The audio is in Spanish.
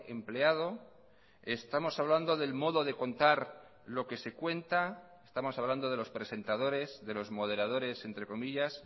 empleado estamos hablando del modo de contar lo que se cuenta estamos hablando de los presentadores de los moderadores entre comillas